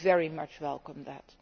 I very much welcome that.